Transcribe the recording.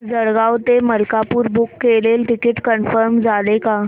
जळगाव ते मलकापुर बुक केलेलं ticket confirm झालं का